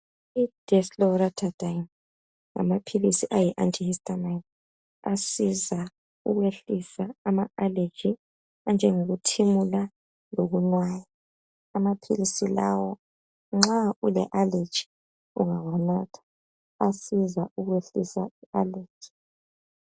Idesloratadine ngamaphilizi ayi anti aleji asiza ukwehlisa ama alegie anjengokuthimula lokunwaya amaphilizi lawa nxa ule aleji ungawanatha ayasiza ayasiza ukwehlusa i aleji